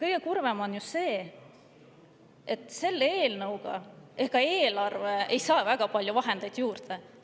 Kõige kurvem on ju see, et selle eelnõuga eelarve väga palju vahendeid juurde ei saa.